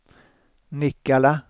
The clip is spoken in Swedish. Nikkala